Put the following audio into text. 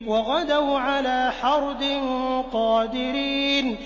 وَغَدَوْا عَلَىٰ حَرْدٍ قَادِرِينَ